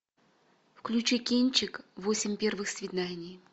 включи кинчик восемь первых свиданий